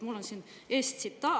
Mul on siin ees tsitaat. "